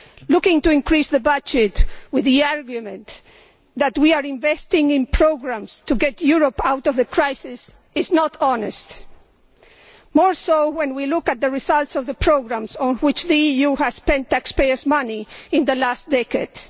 Looking to increase the budget with the argument that we are investing in programmes to get Europe out of the crisis is not honest even less so when we look at the results of the programmes on which the EU has spent taxpayers' money in the last decades.